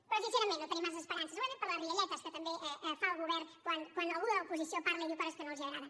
però sincerament no tenim massa esperances segurament per les rialletes que també fa el govern quan algú de l’oposició parla i diu coses que no els agrada